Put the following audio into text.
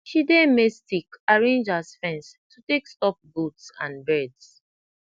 she dey maize stick arrange as fence to tak stop goats and birds